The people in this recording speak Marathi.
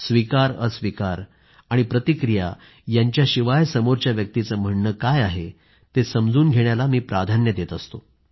स्वीकारअस्वीकार आणि प्रतिक्रिया यांच्याशिवाय समोरच्या व्यक्तीचं म्हणणं काय आहे ते समजून घेण्याला मी प्राधान्य देत असतो